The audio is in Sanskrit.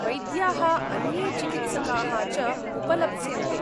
वैद्याः अन्ये चिकित्सकाः च उपलप्स्यन्ते।